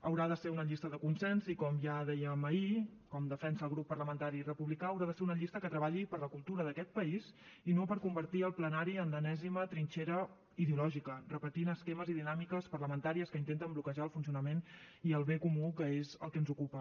haurà de ser una llista de consens i com ja dèiem ahir com defensa el grup parlamentari republicà haurà de ser una llista que treballi per la cultura d’aquest país i no per convertir el plenari en l’enèsima trinxera ideològica repetint esquemes i dinàmiques parlamentàries que intenten bloquejar el funcionament i el bé comú que és el que ens ocupa